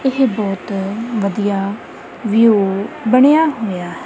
ਏਹ ਬੋਹੁਤ ਵਧੀਆ ਵਿਊ ਬਣਿਆ ਹੋਯਾ।